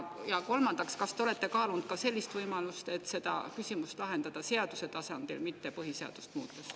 Ja kolmandaks: kas te olete kaalunud ka võimalust lahendada see küsimus seaduse tasandil, mitte põhiseadust muutes?